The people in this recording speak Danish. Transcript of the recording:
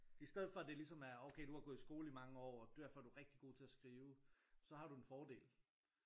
I stedet for det ligesom er okay du har gået i skole i mange år og derfor er du rigtig god til at skrive så har du en fordel